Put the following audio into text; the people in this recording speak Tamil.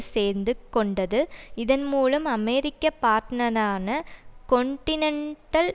சேர்ந்து கொண்டது இதன் மூலம் அமெரிக்க பார்ட்டனரான கொன்டினன்டல்